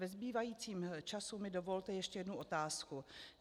Ve zbývajícím času mi dovolte ještě jednu otázku.